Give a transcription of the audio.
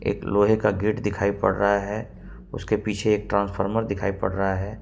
एक लोहे का गेट दिखाई पड़ रहा है उसके पीछे एक ट्रांसफार्मर दिखाई पड़ रहा है।